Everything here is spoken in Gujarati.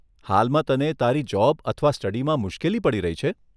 હાલમાં તને તારી જોબ અથવા સ્ટડીમાં મુશ્કેલી પડી રહી છે?